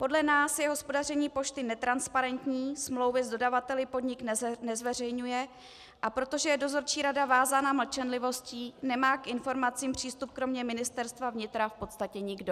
Podle nás je hospodaření pošty netransparentní, smlouvy s dodavateli podnik nezveřejňuje, a protože je dozorčí rada vázána mlčenlivostí, nemá k informacím přístup kromě Ministerstva vnitra v podstatě nikdo.